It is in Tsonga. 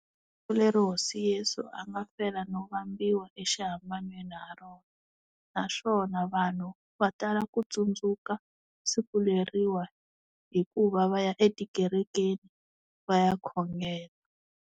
Ku leri hosi Yesu a nga fela no vambiwa exihambanweni ha rona naswona vanhu va tala ku tsundzuka siku leriwa hikuva va ya etikerekeni va ya khongela.